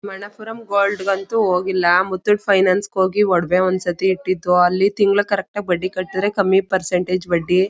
Manappuram gold ಗೆ ಅಂತೂ ಹೋಗಿಲ್ಲ. ಮುತ್ತೂಟ್ ಫೈನಾನ್ಸ್ ಹೋಗಿ ಒಡವೇ ಒಂದ್ ಸತಿ ಇಟ್ಟಿತು ಅಲ್ಲಿ ತಿಂಗಳ ಕರೆಕ್ಟ್ ಆಗಿ ಬಡ್ಡಿ ಕಟುದ್ರೆ ಕಮ್ಮಿ ಪರ್ಸಂಟೇಜ್ ಬಡ್ಡಿ.